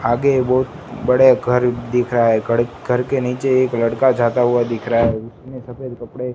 आगे बहुत बड़े घर दिख रहा है घड़ घर के नीचे एक लड़का जाता हुआ दिख रहा है उसने सफेद कपड़े--